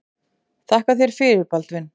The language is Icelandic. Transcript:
Þakka þér fyrir Baldvin.